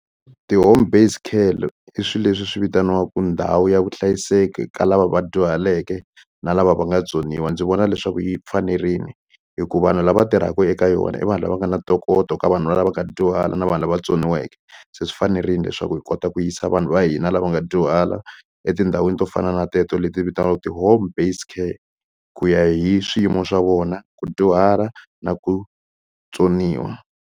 Ti-home based care i swilo leswi swi vitaniwaku ndhawu ya vuhlayiseki ka lava va dyuhaleke na lava va nga tsoniwa ndzi vona leswaku yi fanerile hikuva vanhu lava tirhaka eka yona i vanhu lava nga na ntokoto ka vanhu lava nga dyuhala na vanhu lava tsoniweke se swi fanerile leswaku hi kota ku yisa vanhu va hina lava nga dyuhala etindhawini to fana na teto leti vitaniwaka ti-home based care ku ya hi swiyimo swa vona ku dyuhala na ku tsoniwa.